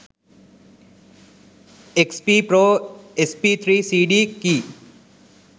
xp pro sp3 cd key